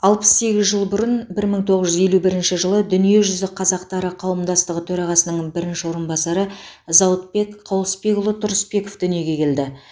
алпыс сегіз жыл бұрын бір мың тоғыз жүз елу бірінші жылы дүниежүзі қазақтары қауымдастығы төрағасының бірінші орынбасары зауытбек қауысбекұлы тұрысбеков дүниеге келді